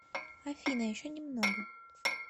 афина еще немного